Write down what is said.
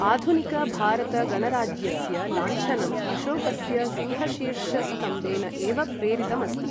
आधुनिक भारत गणराज्यस्य लाञ्छनम् अशोकस्य सिंहशीर्षस्तम्भेन एव प्रेरितमस्ति।